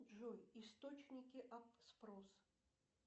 джой источники ап спрос